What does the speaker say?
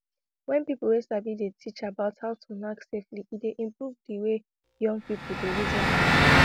wen people wey sabi dey teach about how to knack safely e dey improve di way young people dey reason di matter